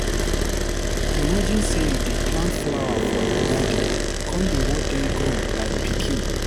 Imagine sey you dey plant flower for your garden, come dey watch dem grow like pikin!